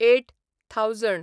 eight thousand